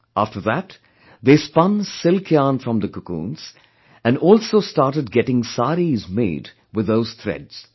After that, they spun silk yarn from the cocoons, and also started getting saris made with those threads